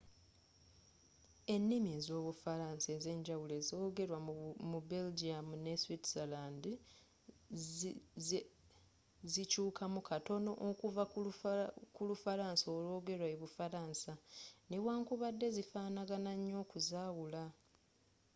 ennimi ez'obufalaansa enza enjawulo ezoogerwa mu belgium ne switzerland zikyuukamu katono okuva ku lufalansa olwoogerwa e bufaransa newankubadde zifaanagana nnyo okuzaawula